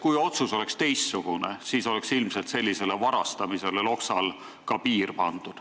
Kui otsus olnuks teistsugune, siis oleks ilmselt ka sellisele varastamisele Loksal piir pandud.